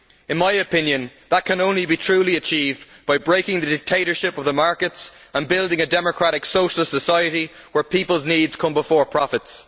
In my opinion, that can only be truly achieved by breaking the dictatorship of the markets and building a democratic socialist society where people's needs come before profits.